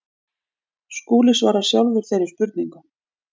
Skúli svarar sjálfur þeirri spurningu.